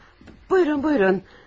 Buyurun, buyurun.